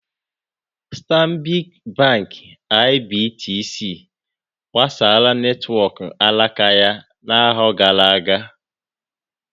Stanbic Bank IBTC gbasaara netwọk alaka ya n'afọ gara aga.